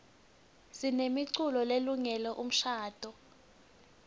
sinemiculo lelungele umshadvo